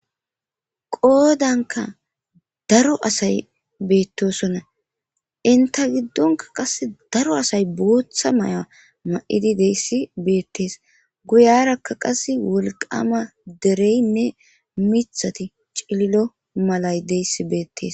Qoodanka daro asay betosonna inta giddonka qasse daro asay booththa may7a ma'idi deyssi betes guyarakka qasse wolqama dereynne mithati cillo malay deyssi betes